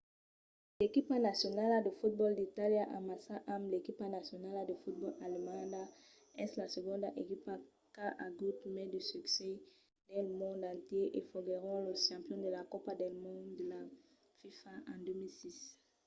l'equipa nacionala de fotbòl d'itàlia amassa amb l'equipa nacionala de fotbòl alemanda es la segonda equipa qu'a agut mai de succès dins lo mond entièr e foguèron los campions de la copa del mond de la fifa en 2006